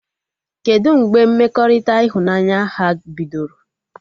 Kedụ mgbe mmekọrịta ịhụnanya ha bidoro?